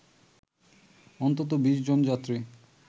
অন্তত ২০ জন যাত্রী